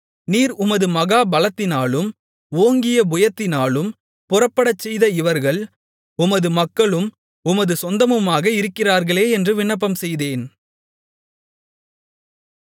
நீர் உமது மகா பலத்தினாலும் ஓங்கிய புயத்தினாலும் புறப்படச்செய்த இவர்கள் உமது மக்களும் உமது சொந்தமுமாக இருக்கிறார்களே என்று விண்ணப்பம்செய்தேன்